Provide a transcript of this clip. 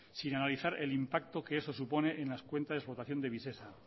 sin analizar el impacto que eso supone en las cuentas de explotación de visesa